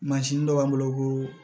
Mansin dɔ b'an bolo ko